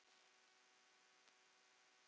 Ljóða þráir ungur.